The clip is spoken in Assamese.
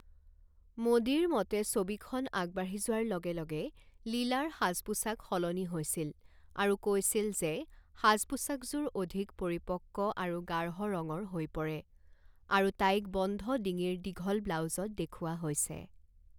মোডীৰ মতে ছবিখন আগবাঢ়ি যোৱাৰ লগে লগে লীলাৰ সাজ পোছাক সলনি হৈছিল আৰু কৈছিল যে সাজ পোছাকযোৰ অধিক পৰিপক্ক আৰু গাঢ় ৰঙৰ হৈ পৰে আৰু তাইক বন্ধ ডিঙিৰ দীঘল ব্লাউজত দেখুওৱা হৈছে।